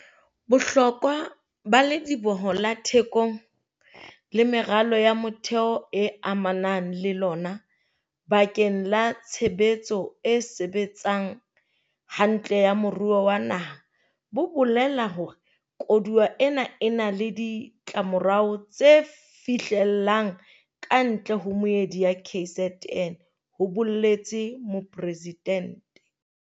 "Bohlokwa ba Lediboho la Thekong le meralo ya motheo e amanang le lona bakeng la tshebetso e sebetsang hantle ya moruo wa naha bo bolela hore koduwa ena e na le ditlamorao tse fihlellang kantle ho meedi ya KZN," ho boletse Mopresidente.